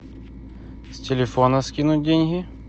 с телефона скинуть деньги